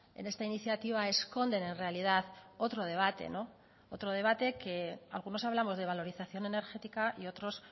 en esta iniciativa esconden en realidad otro debate otro debate que algunos hablamos de valorización energética y otros